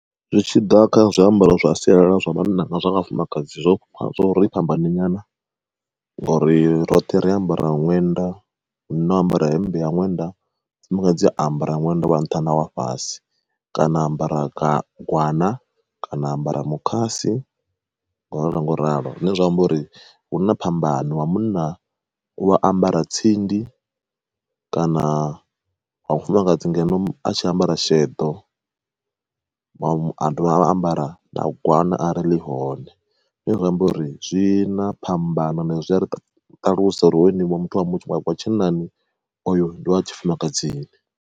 Zwitshiḓa kha zwiambaro zwa sialala zwa vhanna na zwa vhafumakadzi zwo zwo ri fhambanyi nyana, ngori roṱhe ri ambara ṅwenda, munna u ambara hemmbe ya ṅwenda mufumakadzi a ambara ṅwenda wa nṱha nawa fhasi kana a ambara gwana kana ambara mukhasi ngo ralo ngo ralo. Zwine zwa amba uri hu na phambano wa munna u wa ambara tsindi kana wa mufumakadzi ngeno a tshi ambara sheḓo, a dovha a ambara gwana arali ḽihone. Zwine zwi amba uri zwi na phambano ende zwi a ri ṱalusa uri hoyu muthu wa tshinnani oyo ndi ya tshifumakadzini.